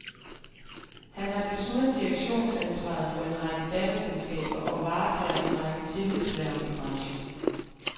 Han har desuden direktionsansvaret for en række datterselskaber og varetager en række tillidshverv i branchen.